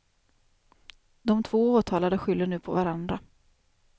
De två åtalade skyller nu på varandra.